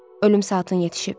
Ölüm saatın yetişib.